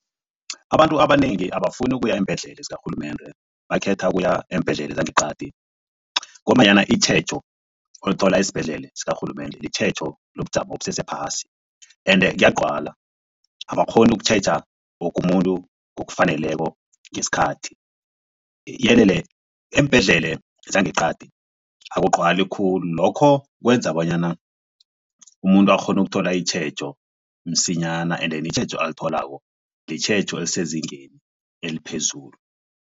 Abantu abanengi abafuni ukuya eembhedlela zikarhulumende bakhetha ukuya eembhedlela zangeqadi ngombanyana itjhejo olithola esibhedlele sikarhulumende litjhejo lobujamo obusese phasi ende kuyagcwala abakghoni ukutjheja woke umuntu ngokufaneleko ngesikhathi eembhedlele zangeqadi akugcwali khulu lokho kwenza bonyana umuntu akghone ukuthola itjhejo msinyana ende itjhejo alitholako litjhejo elisezingeni eliphezulu.